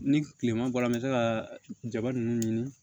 Ni tilema bɔra an bɛ se ka jaba ninnu ɲini